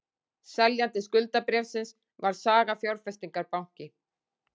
Seljandi skuldabréfsins var Saga Fjárfestingarbanki